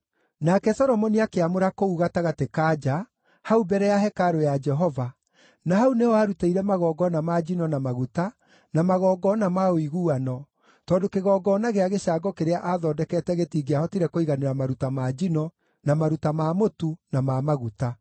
Nake Solomoni akĩamũra kũu gatagatĩ ka nja, hau mbere ya hekarũ ya Jehova, na hau nĩho aarutĩire magongona ma njino na maguta na magongona ma ũiguano, tondũ kĩgongona gĩa gĩcango kĩrĩa aathondekete gĩtingĩahotire kũiganĩra maruta ma njino, na maruta ma mũtu, na ma maguta.